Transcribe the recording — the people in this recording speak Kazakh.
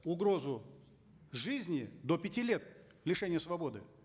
угрозу жизни до пяти лет лишения свободы